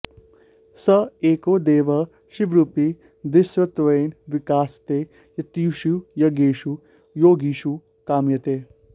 स एको देवः शिवरूपी दृश्यत्वेन विकासते यतिषु यज्ञेषु योगिषु कामयते